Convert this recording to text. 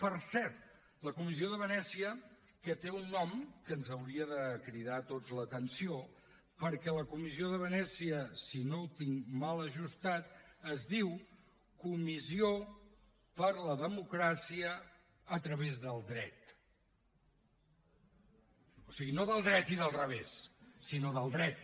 per cert la comissió de venècia que té un nom que ens hauria de cridar a tots l’atenció perquè la comissió de venècia si no ho tinc mal ajustat es diu comissió europea per a la democràcia a través del dret o sigui no del dret i del revés sinó del dret